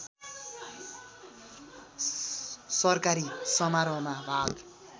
सरकारी समारोहमा भाग